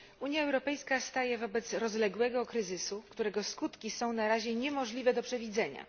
Unia Europejska staje wobec rozległego kryzysu, którego skutki są na razie niemożliwe do przewidzenia.